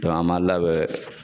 Dɔn an m'an labɛn